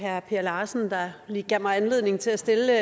herre per larsen der gav mig anledning til at stille